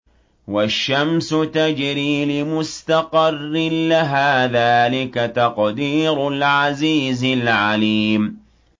وَالشَّمْسُ تَجْرِي لِمُسْتَقَرٍّ لَّهَا ۚ ذَٰلِكَ تَقْدِيرُ الْعَزِيزِ الْعَلِيمِ